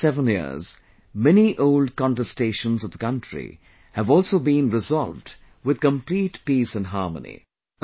In these 7 years, many old contestations of the country have also been resolved with complete peace and harmony